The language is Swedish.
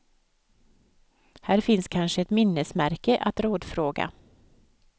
Här finns kanske ett minnesmärke att rådfråga.